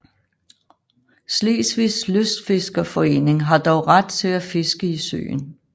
Slesvigs lystfiskerforening har dog ret til at fiske i søen